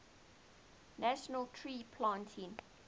national tree planting